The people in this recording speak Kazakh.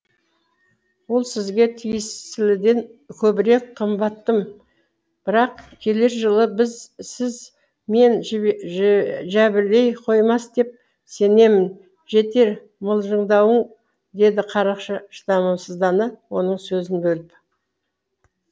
ол сізге тиесіліден көбірек қымбаттым бірақ келер жылы сіз мен жәбірлей қоймас деп сенемін жетер мылжыңдауың деді қарақшы шыдамсыздана оның сөзін бөліп